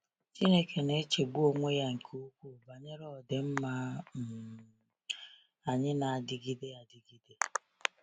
Chineke na-echegbu onwe ya nke ukwuu banyere ọdịmma um um anyị na-adịgide adịgide.